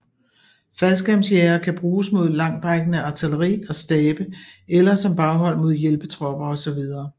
Faldskærmsjægere kan bruges mod langtrækkende artilleri og stabe eller som baghold mod hjælpetropper osv